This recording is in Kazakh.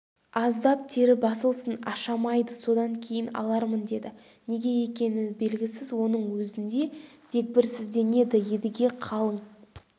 аздап тері басылсын ашамайды содан кейін алармын деді неге екені белгісіз соның өзінде дегбірсізденеді едіге қалың